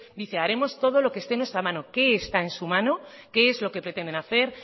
dice haremos todo lo que esté en nuestras manos qué está en su mano qué es lo que pretenden hacer